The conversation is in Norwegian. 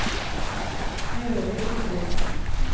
Gøril Tobiassen